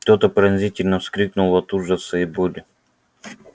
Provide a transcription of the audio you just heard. кто-то пронзительно вскрикнул от ужаса и боли